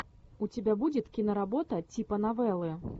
у тебя будет киноработа типа новеллы